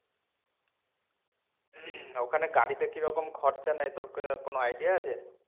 ওখানে গাড়িতে কিরকম খরচা নেয় তোর কি~ কোনো idea আছে?